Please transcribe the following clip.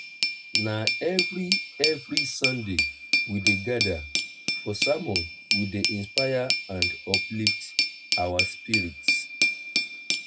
na every every sunday we dey gather for sermon wey dey inspire and uplift our spirits.